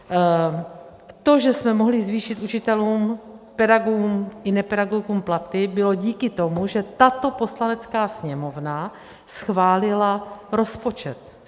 To, že jsme mohli zvýšit učitelům, pedagogům i nepedagogům, platy, bylo díky tomu, že tato Poslanecká sněmovna schválila rozpočet.